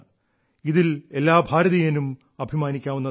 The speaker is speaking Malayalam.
ഇതിൽ എല്ലാ ഭാരതീയനും അഭിമാനിക്കാവുന്നതാണ്